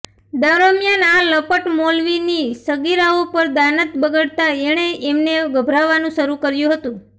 દરમિયાન આ લંપટ મૌલવીની સગીરાઓ પર દાનત બગડતાં એણે એમને ગભરાવવાનું શરૂ કર્યું હતું